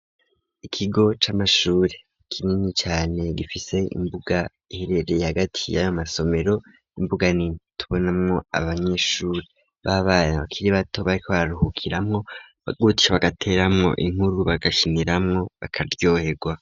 Ikigo c'amashuri kinini cane gifise imbuga iherereye agati ya masomero imbuga nitonamwo abanyeshuri babana bakiri bato bararuhukiramwo bagutishe bagateramwo inkuru bagashiniramwo bakaryohegwa.